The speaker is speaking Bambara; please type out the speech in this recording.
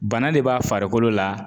Bana de b'a farikolo la